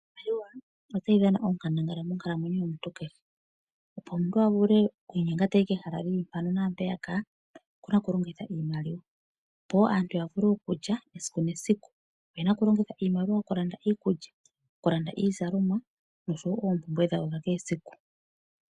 Iimaliwavotayi dhana onkandangala monkalamwenuo yomuntu kehe opo omuntu a vulu okwiinyenga tayi kehala lili mpaka naampeyaka okuna okulongitha iimaliwa opo aantu ya vule ya vule okulya oyenavokulongitha iimaliwa yokulanda iikulya okulanda iizalomwa oshowo oompumbwe dhawo dha kehe esiku.